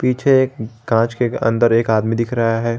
पीछे कांच के अंदर एक आदमी दिख रहा हैं।